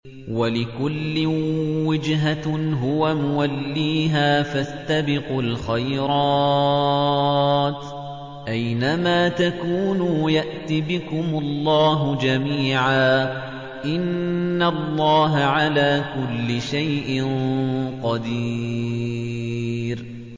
وَلِكُلٍّ وِجْهَةٌ هُوَ مُوَلِّيهَا ۖ فَاسْتَبِقُوا الْخَيْرَاتِ ۚ أَيْنَ مَا تَكُونُوا يَأْتِ بِكُمُ اللَّهُ جَمِيعًا ۚ إِنَّ اللَّهَ عَلَىٰ كُلِّ شَيْءٍ قَدِيرٌ